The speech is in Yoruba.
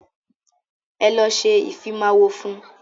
Ẹ lọ ṣe ìfimáwọ fún.